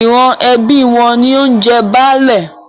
Ìran ẹbí wọn ni ó ń jẹ Baálé.